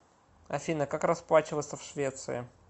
афина как расплачиваться в швеции